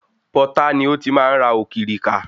Pọtá ni ó ti máa ń ra òkìrìkà.